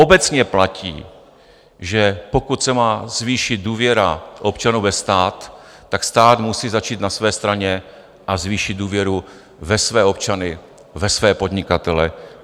Obecně platí, že pokud se má zvýšit důvěra občanů ve stát, tak stát musí začít na své straně a zvýšit důvěru ve své občany, ve své podnikatele.